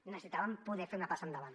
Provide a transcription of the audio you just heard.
necessitàvem poder fer una passa endavant